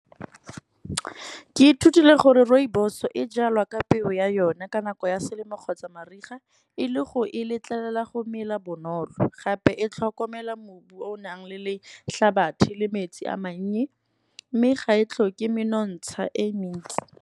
Ke ithutile gore rooibos e jalwa ka peo ya yone, ka nako ya selemo kgotsa mariga. E le go e letlelela go mela bonolo, gape e tlhokomela mobu o o nang le le hlabathi le metsi a mannye, mme ga e tlo ke menontsha e mentsi.